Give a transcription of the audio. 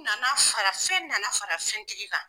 U nana fara, fɛn nana fara fɛntigi kan.